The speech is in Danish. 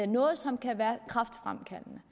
noget som kan være kræftfremkaldende